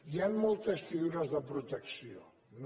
hi ha moltes figures de protecció no